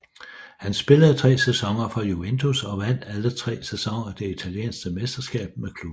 Han spillede tre sæsoner for Juventus og vandt alle tre sæsoner det italienske mesterskab med klubben